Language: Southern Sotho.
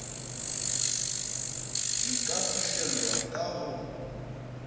di ka fihlelwa ka ho